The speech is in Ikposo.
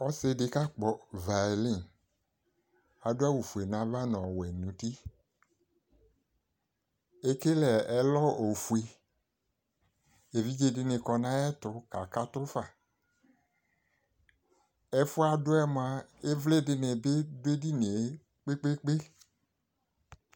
Ɔse de ka kpɔ vailin, ado awufue nava no ɔwɛ no utiEkele ɛlɔ ofue Evidze de ne kɔ nayeto ka kato fa Ɛfuɛ adoɛ moa evle de ne be do edinie kpekpe